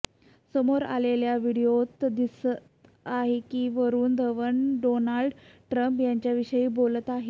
समोर आलेल्या व्हिडीओत दिसत आहे की वरुण धवन डोनाल्ड ट्रम्प यांच्याविषयी बोलत आहे